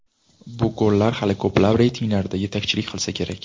Bu gollar hali ko‘plab reytinglarda yetakchilik qilsa kerak... !